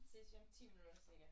ID C